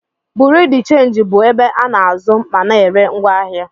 Bureau de change bụ ebe a na-azụ ma na-ere ngwaahịa.